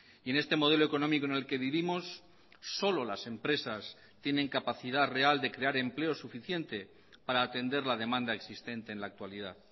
y en este modelo económico en el que vivimos solo las empresas tienen capacidad real de crear empleo suficiente para atender la demanda existente en la actualidad